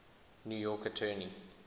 new york attorney